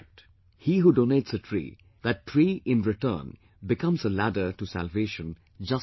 He who donates a tree, that tree in return becomes a ladder to salvation just like children